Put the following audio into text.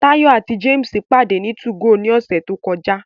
Tayo àti James pàdé ní 2go ní ọ̀sẹ̀ tó kọjá